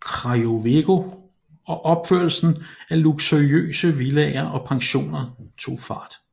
Krajowego og opførelsen af luksuriøse villaer og pensioner tog fart